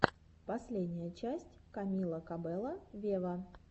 последняя часть камила кабелло вево